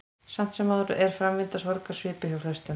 Samt sem áður er framvinda sorgar svipuð hjá flestum.